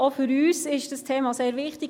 Auch für uns ist dieses Thema sehr wichtig.